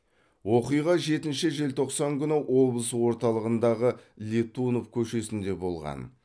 оқиға жетінші желтоқсан күні облыс орталығындағы летунов көшесінде болған